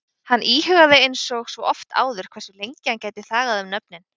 Hann íhugaði einsog svo oft áður hversu lengi hann gæti þagað um nöfnin?